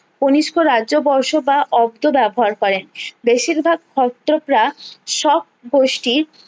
কনিস্ক রাজ্য বর্ষ বা অব্দ ব্যবহার করেন বেশির ভাগ হস্তকরা সব গোষ্ঠীর